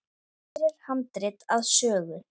Hér er handrit að sögu.